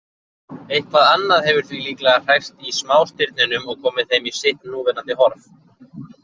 Eitthvað annað hefur því líklega hrært í smástirnunum og komið þeim í sitt núverandi horf.